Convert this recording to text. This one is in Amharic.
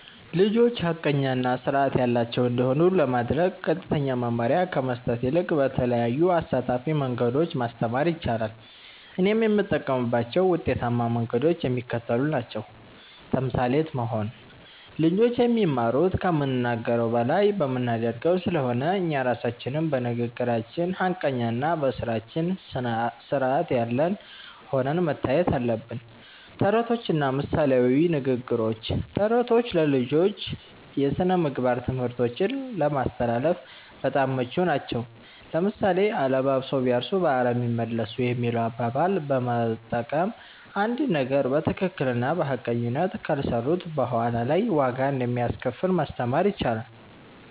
ልጆች ሐቀኛ እና ሥርዓት ያላቸው እንዲሆኑ ለማድረግ ቀጥተኛ መመሪያ ከመስጠት ይልቅ በተለያዩ አሳታፊ መንገዶች ማስተማር ይቻላል። እኔም የምጠቀምባቸው ውጤታማ መንገዶች የሚከተሉት ናቸው። ተምሳሌት መሆን (Role Modeling)፦ ልጆች የሚማሩት ከምንናገረው በላይ በምናደርገው ስለሆነ፣ እኛ ራሳችን በንግግራችን ሐቀኛና በሥራችን ሥርዓት ያለን ሆነን መታየት አለብን። ተረቶችና ምሳሌያዊ ንግግሮች፦ ተረቶች ለልጆች የሥነ-ምግባር ትምህርቶችን ለማስተላለፍ በጣም ምቹ ናቸው። ለምሳሌ፣ "አለባብሰው ቢያርሱ በአረም ይመለሱ" የሚለውን አባባል በመጠቀም፣ አንድን ነገር በትክክልና በሐቀኝነት ካልሰሩት በኋላ ላይ ዋጋ እንደሚያስከፍል ማስተማር ይቻላል።